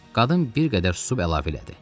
Qadın bir qədər susub əlavə elədi.